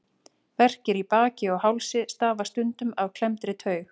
Verkir í baki og hálsi stafa stundum af klemmdri taug.